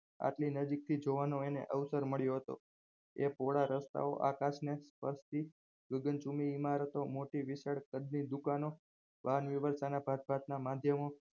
આટલી નજીકથી જોવાનું અને અવસર મળ્યો હતો આ પહોળા રસ્તાઓ આકાશને ગગનચુંબી ઇમારતને મોટી વિશાલ કદની દુકાનો જાતજાત ના માધ્યમો